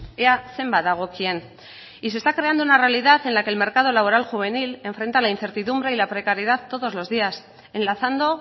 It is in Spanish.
ea zenbat dagokien y se está creando una realidad en la que el mercado laboral juvenil enfrenta la incertidumbre y la precariedad todos los días enlazando